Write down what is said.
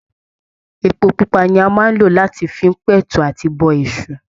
Epo pupa ni a máa n lọ láti fi n p'ẹ̀tú àti bọ Èṣù.